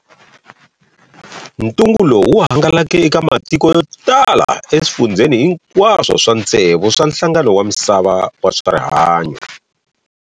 Ntungu lowu wu hangalake eka matiko yo tala e swifundzeni hinkaswo swa ntsevu swa nhlangano wa Misava wa Swarihanyo.